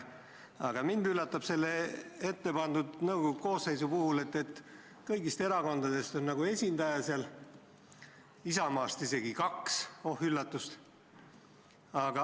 Aga mind üllatab selle ettepandud nõukogu koosseisu puhul, et kõigist erakondadest on esindaja seal olemas, Isamaast on isegi kaks – oh üllatust!